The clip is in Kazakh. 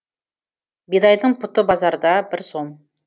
бидайдың пұты базарда бір сом